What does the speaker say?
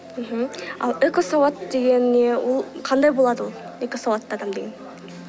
мхм ал экосауат деген не ол қандай болады ол экосауатты адам деген